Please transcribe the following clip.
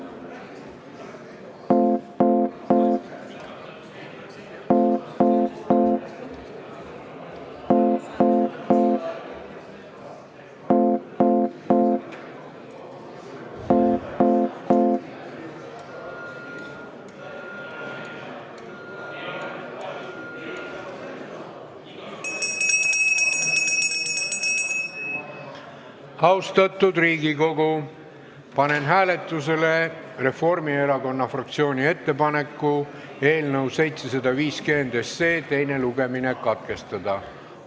Austatud Riigikogu, panen hääletusele Reformierakonna fraktsiooni ettepaneku eelnõu 750 teine lugemine katkestada.